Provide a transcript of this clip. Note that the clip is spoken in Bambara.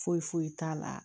Foyi foyi t'a la